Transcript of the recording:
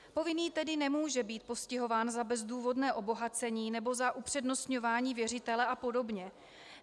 Povinný tedy nemůže být postihován za bezdůvodné obohacení nebo za upřednostňování věřitele a podobně.